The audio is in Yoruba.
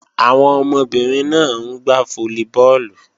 Àwọn ọmọbìnrin náà ń gbá fólíbọọ̀lù